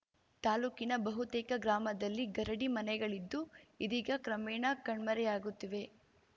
ತಾಲೂಕಿನ ಬಹುತೇಕ ಗ್ರಾಮದಲ್ಲಿ ಗರಡಿ ಮನೆಗಳಿದ್ದು ಇದೀಗ ಕ್ರಮೇಣ ಕಣ್ಮರೆಯಾಗುತ್ತಿವೆ